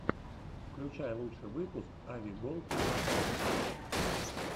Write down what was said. включай лучший выпуск ави голд аватария